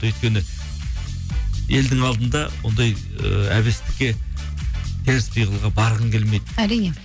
өйткені елдің алдында ондай ыыы әбестікке теріс пиғылға барғың келмейді әрине